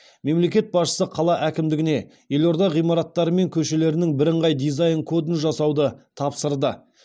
мемлекет басшысы қала әкімдігіне елорда ғимараттары мен көшелерінің бірыңғай дизайн кодын жасауды тапсырды